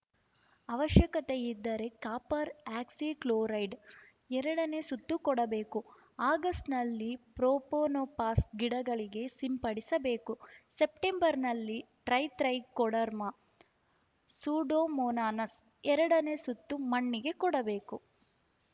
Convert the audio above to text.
ಅವಶ್ಯಕತೆ ಇದ್ದರೆ copper oxychloride ಎರಡನೇ ಸುತ್ತು ಕೊಡುಬೇಕು ಆಗಸ್ಟ್‌ನಲ್ಲಿ ಪ್ರೊಪೋನೋಫಾಸ್‌ ಗಿಡಗಳಿಗೆ ಸಿಂಪಡಿಸಬೇಕು ಸೆಪ್ಟೆಂಬರ್‌ನಲ್ಲಿ ಟ್ರೆತ್ರೖಕೊಡರ್ಮ ಸೂಡೋಮೋನಾನಸ್‌ ಎರಡನೇ ಸುತ್ತೂ ಮಣ್ಣಿಗೆ ಕೊಡಬೇಕು